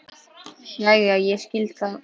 Jæja, ég skil, sagði hún.